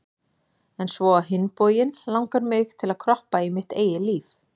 En svo á hinn bóginn langar mig til að kroppa í mitt eigið líf